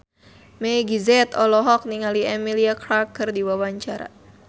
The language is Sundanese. Meggie Z olohok ningali Emilia Clarke keur diwawancara